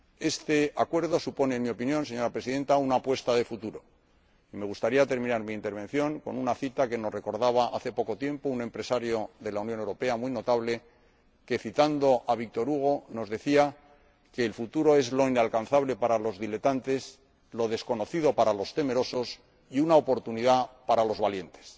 Este Acuerdo supone, en mi opinión, señora Presidenta, una apuesta de futuro y me gustaría terminar mi intervención con una cita que nos recordaba hace poco tiempo un empresario muy notable de la Unión Europea que, citando a Victor Hugo, nos decía que el futuro es lo inalcanzable para los diletantes, lo desconocido para los temerosos, y una oportunidad para los valientes.